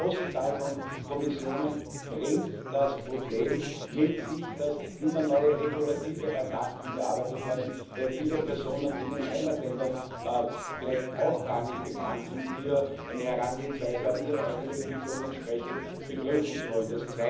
Diese große Zahl von Kommissaren bringt das Problem mit sich, dass immer neue Regulative erdacht und erarbeitet werden, weil viele Personen, die in den Heimatländern vielleicht auch gar nicht bekannt sind, hier die Herangehensweise haben, ihre eigene Funktion begründen zu wollen.